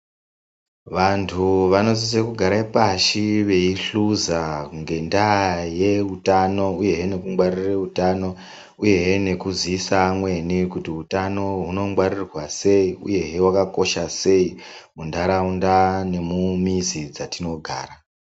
Vantu vanosise kugara pashi veyi hluza ngenda ye utano uyehe neku ngwarire utano uyehe neku ziisa amweni kuti hutano huno ngwarirwa sei uyehe hwakakosha sei mu ndaraunda nemu mizi dzatino gara.